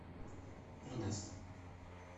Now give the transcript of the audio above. эрнест